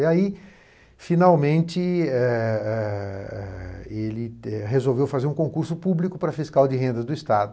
E aí, finalmente, eh eh eh... ele resolveu fazer um concurso público para fiscal de renda do Estado.